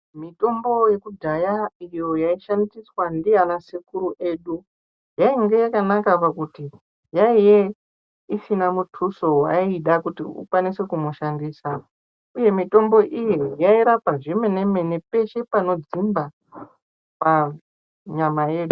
Mitombo yekudhaya iyo yaishandiswa ndiyana sekuru edu yainge yakanaka pakuti yaiye isina muthuso wayaida kuti ukwanise kushandisa uye mitombo iyi yairapa zvemenemene peshe panodzimba panyama yedu.